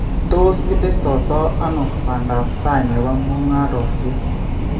Tos kitesestoito ano bandaab taai nebo muung�ariisyek